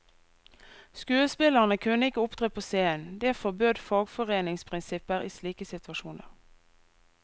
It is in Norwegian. Skuespillerne kunne ikke opptre på scenen, det forbød fagforeningsprinsipper i slike situasjoner.